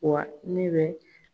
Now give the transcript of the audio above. Wa ne bɛ